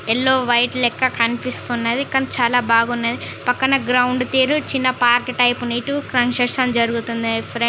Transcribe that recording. Yellow white లెక్క కనిపిస్తున్నది. కానీ చాలా బాగున్నది. పక్కన గ్రౌండ్ తీరు చిన్న పార్క్ టైపు కన్స్ట్రక్షన్ జరుగుతున్నది ఫ్రెండ్ .